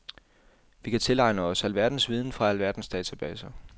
Vi kan tilegne os alverdens viden fra alverdens databaser.